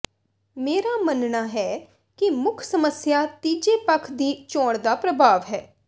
ਮੇਰਾ ਮੰਨਣਾ ਹੈ ਕਿ ਮੁੱਖ ਸਮੱਸਿਆ ਤੀਜੇ ਪੱਖ ਦੀ ਚੋਣ ਦਾ ਪ੍ਰਭਾਵ ਹੈ